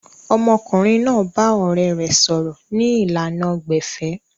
Ọmọkùnrin náà bá ọ̀rẹ̀ rẹ̀ sọ̀rọ̀ ni ìlànà gbẹ̀fẹ̀